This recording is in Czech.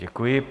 Děkuji.